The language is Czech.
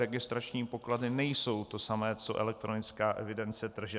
Registrační pokladny nejsou to samé co elektronická evidence tržeb.